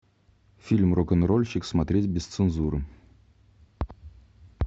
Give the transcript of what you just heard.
фильм рок н рольщик смотреть без цензуры